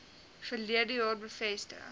verlede jaar bevestig